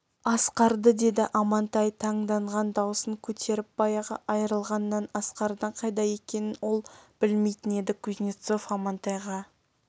асқарды деді амантай таңданған даусын көтеріп баяғы айрылғаннан асқардың қайда екенін ол білмейтін еді кузнецов амантайға